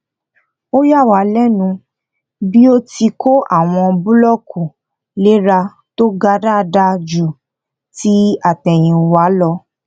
ó yà wá lẹnu pẹlú bí ó ti kó àwọn búlọkù léra tó ga dáadáa ju ti àtèyìnwá lọ